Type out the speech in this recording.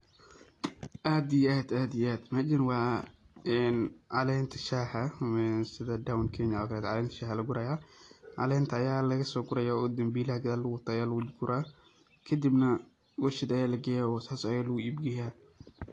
Aad iyo aad aad iyo aad mejaan wa een calenta shaxaa sidhaa down Kenya calenta shaxaa aya lagurayaa, calenta aya laga sogurayaa oo dambilaha gadal lagu wato aya laguguraa kadibna warshaad aya lageyaa oo sas aya lagu iib geyaa.